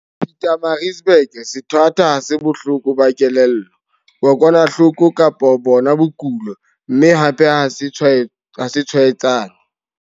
Pietermaritzburg, sethwathwa ha se bohloko ba kelello, kokwanahloko kapa bona bokulo, mme hape ha se tshwaetsane.